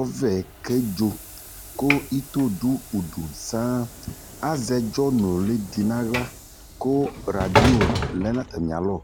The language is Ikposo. ɔvɛ kedzo ku ito dʊ udʊ saŋ azɛ ɛdzɔnulɩ dɩ naɣla radɩo nʊlɩdi lɛ nu atamialɔ